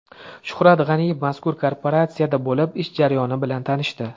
Shuhrat G‘aniyev mazkur kooperatsiyada bo‘lib, ish jarayoni bilan tanishdi.